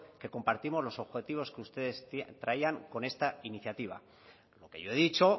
que compartimos los objetivos que ustedes traían con esta iniciativa lo que yo he dicho